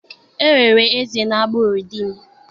e nwere eze n'agbụrụ di m.